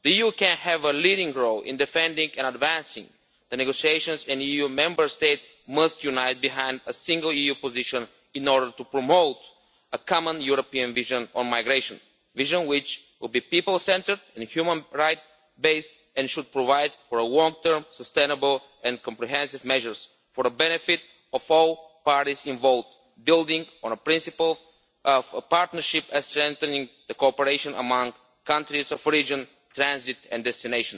The UN has a leading role in defending and advancing the negotiations and EU Member States must unite behind a single EU position in order to promote a common European vision on migration, a vision which will be people centred and human rights based, and should provide for long term sustainable and comprehensive measures for the benefit of all parties involved, building on the principle of a partnership strengthening cooperation among transit and destination countries in the region.